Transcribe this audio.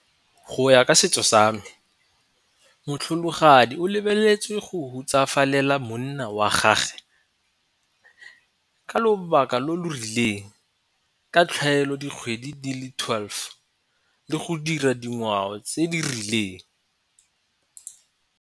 Go ya ka setso sa me motlholagadi o lebeletswe go hutsafalela monna wa gage, ka lobaka lo lo rileng ka tlhaelo dikgwedi di le twelve le go dira dingwao tse di rileng.